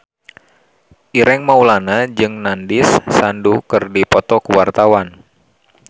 Ireng Maulana jeung Nandish Sandhu keur dipoto ku wartawan